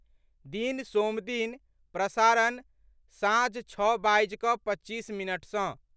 दिन सोमदिन, प्रसारण, साँझ छओ बाजि कऽ पच्चीस मिनट सँ